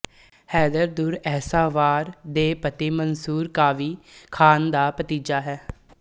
ਹੈਦਰ ਦੁੱਰਏਸ਼ਹਵਾਰ ਦੇ ਪਤੀ ਮੰਸੂਰ ਕਾਵੀ ਖਾਨ ਦਾ ਭਤੀਜਾ ਹੈ